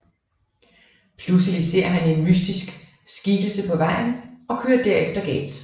Pludselig ser han en mystisk skikkelse på vejen og kører derefter galt